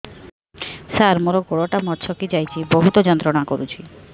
ସାର ମୋର ଗୋଡ ଟା ମଛକି ଯାଇଛି ବହୁତ ଯନ୍ତ୍ରଣା କରୁଛି